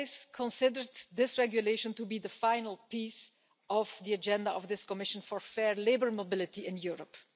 always considered this regulation to be the final piece of the agenda of this Commission for fair labour mobility in Europe.